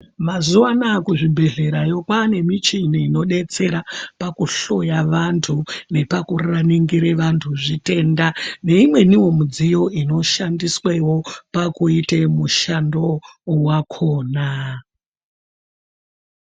Mazuwanaya kuzvibhedhlerayo, kwane michini inodetsera pakuhloya vantu nepakuningirire vantu zvitenda neimweniwo midziyo inoshandiswewo pakuite mushando wakona.